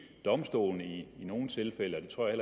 domstolene i nogle tilfælde og det tror jeg